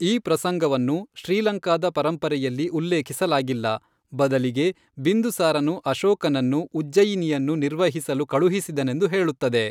ಈ ಪ್ರಸಂಗವನ್ನು ಶ್ರೀಲಂಕಾದ ಪರಂಪರೆಯಲ್ಲಿ ಉಲ್ಲೇಖಿಸಲಾಗಿಲ್ಲ, ಬದಲಿಗೆ ಬಿಂದುಸಾರನು ಅಶೋಕನನ್ನು ಉಜ್ಜಯಿನಿಯನ್ನು ನಿರ್ವಹಿಸಲು ಕಳುಹಿಸಿದನೆಂದು ಹೇಳುತ್ತದೆ.